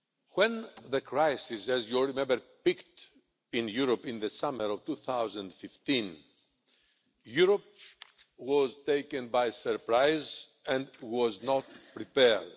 When the crisis, as you all remember, peaked in Europe in the summer of 2015, Europe was taken by surprise and was not prepared.